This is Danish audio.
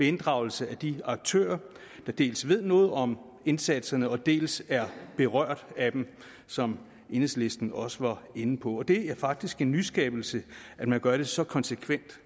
inddragelse af de aktører der dels ved noget om indsatserne dels er berørt af dem som enhedslisten også var inde på det er faktisk en nyskabelse at man gør det så konsekvent